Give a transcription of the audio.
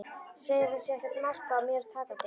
Segir að það sé ekkert mark á mér takandi.